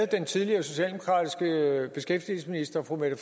den tidligere socialdemokratiske beskæftigelsesminister fru mette